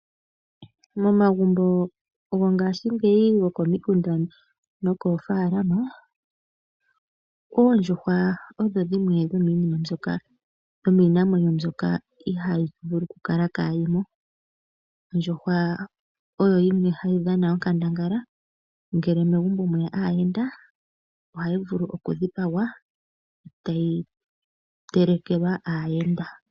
Momagumnbo gongashingeyi gokomikunda nomoofaalama oondjuhwa odho dhimwe dhomiinamwenyo mbyoka ihayi vulu okukala kaayi mo. Ondjuhwa oyo yimwe hayi dhana onkandangala ngele mwe ya aayenda. Ohayi vulu okudhipagwa tayi telekelwa aayenda.